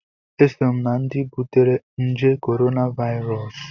Eso m na-ndị butere nje korona Vairọs